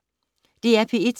DR P1